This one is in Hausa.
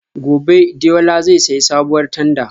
Gobe ​​Deola zai sayi sabuwar tanda